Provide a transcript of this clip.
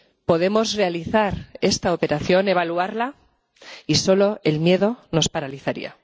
podemos realizar esta operación, evaluarla y solo el miedo nos paralizaría.